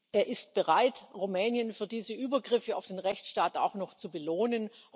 Er ist bereit, Rumänien für diese Übergriffe auf den Rechtsstaat auch noch zu belohnen.